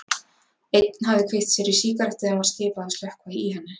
Einn hafði kveikt sér í sígarettu en var skipað að slökkva í henni.